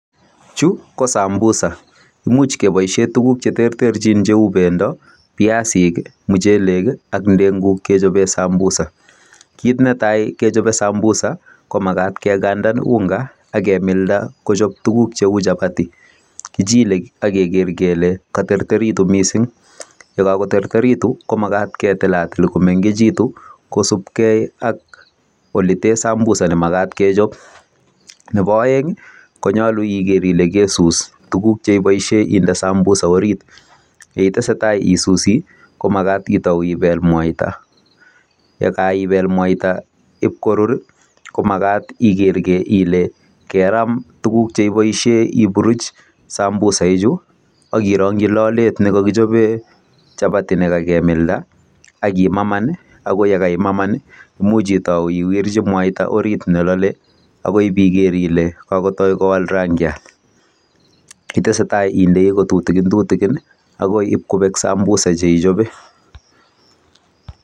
Chu ko sambusa imuch keboisie tuguk che terterchin cheu bendo, piasik ak ndenguk che cheben sambusa. Kit netai kechope sambusa ko magat kegandan ungaak kemilda kochop tuguk cheu chapati . Kichile ak keger kele katerterekitu mising. Yekakoterterekitu komagat ketilatil komengegitu kosupke ak olete sambusa ne magat kechop. Nebo aeng ko nyalu iger ile kesus tuguk che iboisie inde sambusa orit.. Yeiteseta isusi komagat itau ipel mwaita. Yekaipel mwaita ip korur komagat iger ile keram tuguk che iboisie oburuch sambusa ichu ak irongyi lolet nekokichoben chapati nekakemilda ak imaman ago yekaimaman imuch itau iwirchi mwaita orit ne lole agoi piker ile kakowalak rangiat. Yeitesetai indei kotutikintutikin, agoi ip kobek sambusa che ichope.